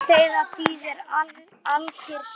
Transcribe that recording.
Ládeyða þýðir alkyrr sjór.